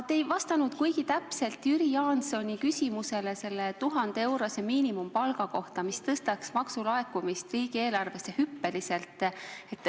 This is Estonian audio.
Te ei vastanud kuigi täpselt Jüri Jaansoni küsimusele selle 1000-eurose miinimumpalga kohta, mis tõstaks maksulaekumist riigieelarvesse hüppeliselt.